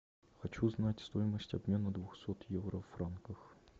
хочу узнать стоимость обмена двухсот евро в франках